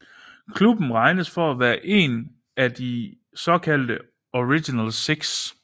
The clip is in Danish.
Klubben regnes for at være én af de såkaldte Original Six